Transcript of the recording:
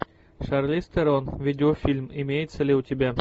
шарлиз терон видеофильм имеется ли у тебя